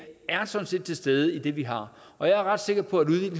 er sådan set til stede i det vi har og jeg er ret sikker på